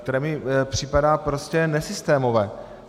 To mi připadá prostě nesystémové.